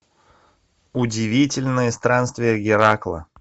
удивительные странствия геракла